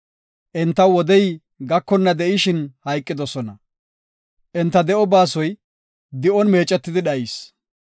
Entaw wodey gakonna de7ishin hayqidosona; enta de7o baasoy di7on meecetidi dhayis.